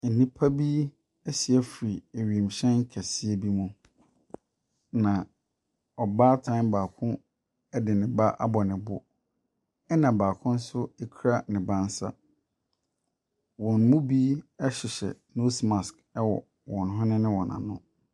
Nnipa bi asi afiri ewiemhyɛ kɛseɛ bi mu. Na ɔbaatan baako de ne ba abɔ ne bo, ɛna baako nso kura ne ba nsa. Wɔn mu bi hyehyɛ nose mask wɔ wɔn hwene ne wɔn ano.